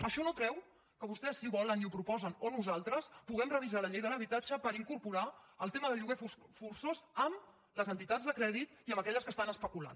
això no treu que vostès si volen i ho proposen o nosaltres puguem revisar la llei de l’habitatge per incorporar el tema del lloguer forçós amb les entitats de crèdit i amb aquelles que estan especulant